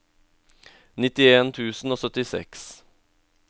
nittien tusen og syttiseks